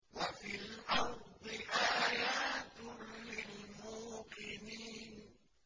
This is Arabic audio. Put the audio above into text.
وَفِي الْأَرْضِ آيَاتٌ لِّلْمُوقِنِينَ